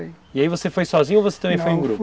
E aí você foi sozinho ou você também foi em grupo? Não, fui